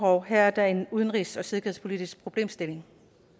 hov her er der en udenrigs og sikkerhedspolitisk problemstilling